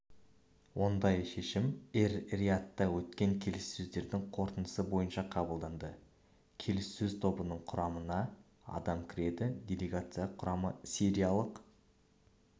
ондай шешім эр-риядта өткен келіссөздердің қорытындысы бойынша қабылданды келіссөз тобының құрамына адам кіреді делегация құрамы сиряиялық